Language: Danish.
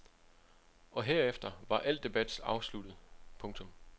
Og herefter var al debat afsluttet. punktum